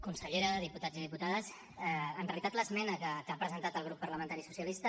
consellera diputats i diputades en realitat l’esmena que ha presentat el grup parlamentari socialista